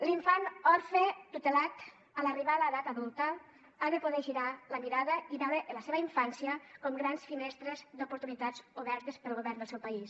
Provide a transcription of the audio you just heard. l’infant orfe tutelat a l’arribar a l’edat adulta ha de poder girar la mirada i veure la seva infància com grans finestres d’oportunitats obertes pel govern del seu país